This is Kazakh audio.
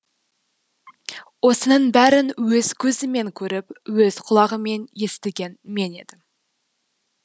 осының бәрін өз көзіммен көріп өз құлағыммен естіген мен едім